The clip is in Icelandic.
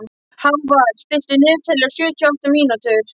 Hávarr, stilltu niðurteljara á sjötíu og átta mínútur.